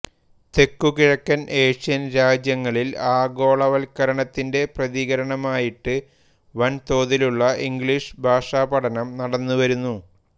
തെക്കുകിഴക്കൻ ഏഷ്യൻ രാജ്യങ്ങളിൽ ആഗോളവൽക്കരണത്തിന്റെ പ്രതികരണമായിട്ട് വൻതോതിലുള്ള ഇംഗ്ളീഷ് ഭാഷാപഠനം നടന്നുവരുന്നു